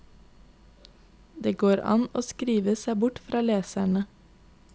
Det går an å skrive seg bort fra leserne.